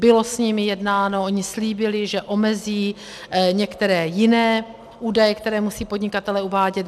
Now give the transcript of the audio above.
Bylo s nimi jednáno, oni slíbili, že omezí některé jiné údaje, které musí podnikatelé uvádět.